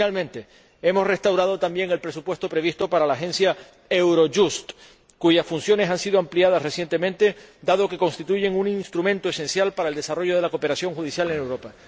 Y, finalmente, hemos restablecido también el presupuesto previsto para la Agencia Eurojust, cuyas funciones han sido ampliadas recientemente, dado que constituyen un instrumento esencial para el desarrollo de la cooperación judicial en Europa.